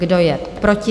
Kdo je proti?